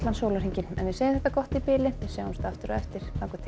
sólarhringinn en við segjum þetta gott í bili við sjáumst aftur á eftir þangað til